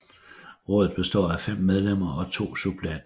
Rådet består af 5 medlemmer og 2 suppleanter